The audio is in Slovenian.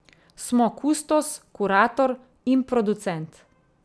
Smo kustos, kurator in producent.